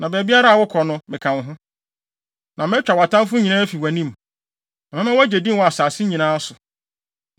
Na baabiara a wokɔ no, meka wo ho, na matwa wʼatamfo nyinaa afi wʼanim. Na mɛma woagye din wɔ asase yi nyinaa so.